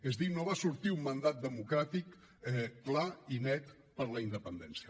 és a dir no va sortir un mandat democràtic clar i net per la independència